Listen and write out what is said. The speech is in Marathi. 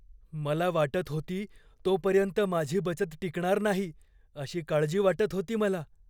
मला वाटत होती तोपर्यंत माझी बचत टिकणार नाही अशी काळजी वाटत होती मला.